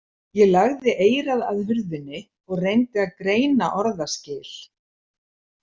Ég lagði eyrað að hurðinni og reyndi að greina orðaskil.